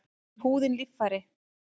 Er húðin líffæri?